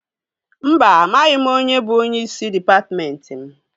Mba, amaghị m onye bụ onyeisi dịpatmentị m